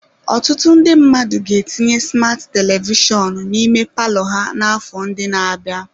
Ọtụtụ ndị mmadụ ga-etinye smat telivishọn n'ime palọ ha n'afọ ndị na-abịa.